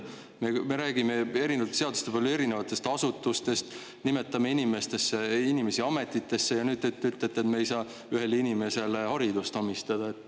Me räägime ju erinevate seaduste puhul erinevatest asutustest ja nimetame inimesi ametitesse, aga nüüd te ütlete, et me ei saa ühele inimesele haridust omistada.